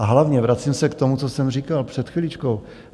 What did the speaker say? A hlavně - vracím se k tomu, co jsem říkal před chviličkou.